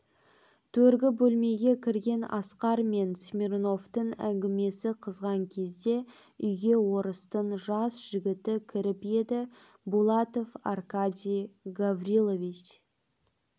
төргі бөлмеге кірген асқар мен смирновтың әңгімесі қызған кезде үйге орыстың жас жігіті кіріп еді булатов аркадий гаврилович